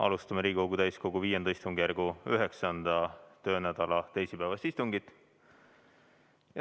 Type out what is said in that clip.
Alustame Riigikogu täiskogu V istungjärgu 9. töönädala teisipäevast istungit.